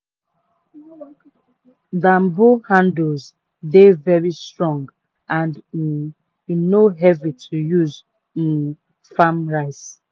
banbo handles dey very strong and um e no heavy to use um farm rice